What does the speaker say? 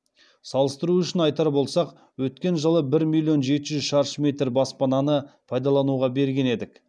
салыстыру үшін айтар болсақ өткен жылы бір миллион жеті жүз шаршы метр баспананы пайдалануға берген едік